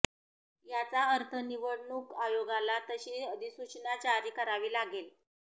याचा अर्थ निवडणूक आयोगाला तशी अधिसूचना जारी करावी लागेल